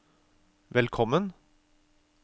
velkommen